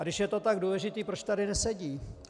A když je to tak důležité, proč tady nesedí?